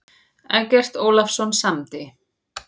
Eggert Ólafsson samdi.